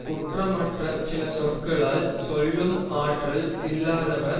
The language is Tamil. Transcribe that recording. குற்றமற்ற சில சொற்களால் சொல்லும் ஆற்றல் இல்லாதவர்